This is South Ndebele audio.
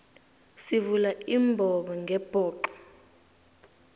sivula imbobongebhoxo